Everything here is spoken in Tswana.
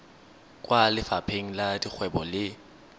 kwa lefapheng la dikgwebo le